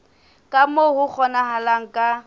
ka moo ho kgonahalang ka